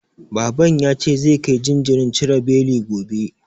Baban ya ce zai kai jinjirin cire beli gobe.